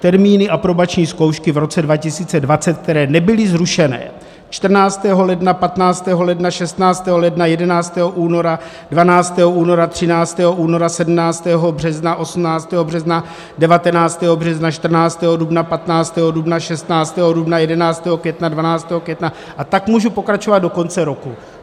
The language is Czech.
Termíny aprobační zkoušky v roce 2020, které nebyly zrušené: 14. ledna, 15. ledna, 16. ledna, 11. února, 12. února, 13. února, 17. března, 18. března, 19. března, 14. dubna, 15. dubna, 16. dubna, 11. května, 12. května - a tak můžu pokračovat do konce roku.